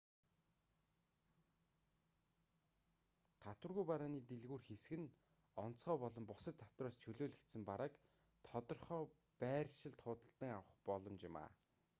татваргүй барааны дэлгүүр хэсэх нь онцгой болон бусад татвараас чөлөөлөгдсөн барааг тодорхой байршилд худалдан авах боломж юм